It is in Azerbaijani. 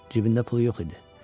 Cibində pul yox idi.